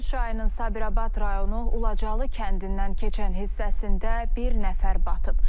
Kür çayının Sabirabad rayonu Ucalı kəndindən keçən hissəsində bir nəfər batıb.